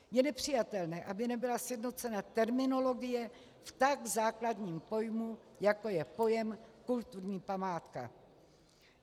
Je nepřijatelné, aby nebyla sjednocena terminologie v tak základním pojmu, jako je pojem kulturní památka.